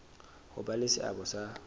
ho ba le seabo sa